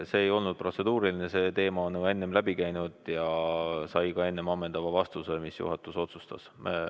See ei olnud protseduuriline, see teema on juba enne läbi käinud ja sai ka enne ammendava vastuse, mis juhatus otsustas.